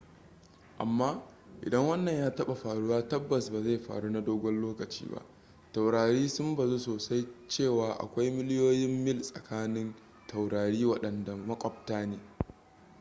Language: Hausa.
amma idan wannan ya taɓa faruwa tabbas ba zai faru na dogon lokaci ba taurari sun bazu sosai cewa akwai miliyoyin mil tsakanin taurari waɗanda maƙwabta ne